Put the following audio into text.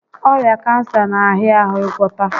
Ọrịa kansa n'ahịa ahụ ịgwọta